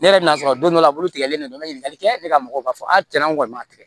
Ne yɛrɛ bɛn'a sɔrɔ don dɔ la a bolo tigɛlen don n bɛ ɲininkali kɛ ne ka mɔgɔw b'a fɔ a tiɲɛ na an kɔni ma tigɛ